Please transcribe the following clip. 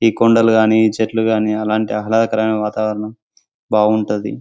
ఈ కొండలు గని ఈ చెట్లు కానీ అలాంటి ఆహ్లదకరమైన వాతావరణం బాగుంటది.